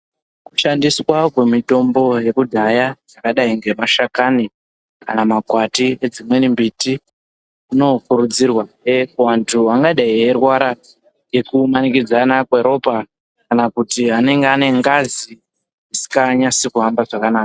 Kushandiswa kwemitombo yekudhaya, dzakadayi ngemashakani kana makwati edzimweni mbiti, kuno kurudzirwahe kuvantu vangadayi veyirwara ngeku manikidzana kweropa kana kuti anenge anengazi risinganyasi kuhamba zvakanaka.